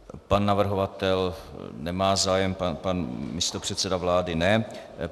Pan navrhovatel nemá zájem, pan místopředseda vlády ne.